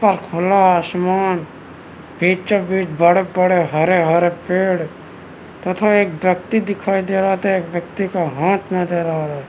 त खुला आसमान बीचो बिच बड़े-बड़े हरे-हरे पेड़ तथा एक व्यक्ति दिखाई दे रहा हैं तो एक व्यक्ति का हाथ नज़र आ रहा है।